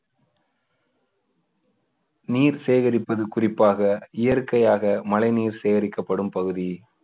நீர் சேகரிப்பது குறிப்பாக இயற்கையாக மழை நீர் சேகரிக்கப்படும் பகுதி